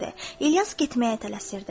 İlyas getməyə tələsirdi.